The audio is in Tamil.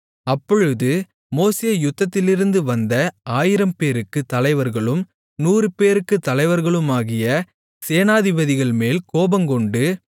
அப்பொழுது மோசே யுத்தத்திலிருந்து வந்த ஆயிரம்பேருக்குத் தலைவர்களும் நூறுபேருக்குத் தலைவர்களுமாகிய சேனாபதிகள்மேல் கோபங்கொண்டு